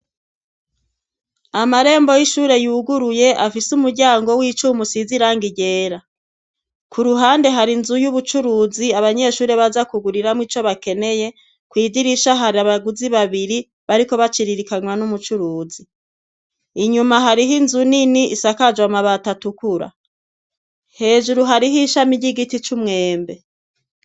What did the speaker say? Amarembo y'ishure yuguruye afise umuryango w'icumu siziranga iryera ku ruhande hari inzu y'ubucuruzi abanyeshure baza kuguriramwo ico bakeneye kw'idirisha hari abaguzi babiri bariko baciririkanywa n'umucuruzi inyuma hariho inzu nini isakajwe amabatoatukura hejuru hariho ishami ry'igiti c'umwembe.